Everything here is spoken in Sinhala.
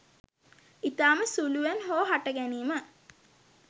ඉතාම සුළුවෙන් හෝ හට ගැනීම